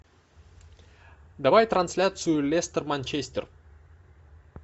давай трансляцию лестер манчестер